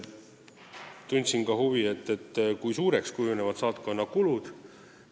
Tundsin ka huvi, kui suureks kujunevad saatkonna kulud.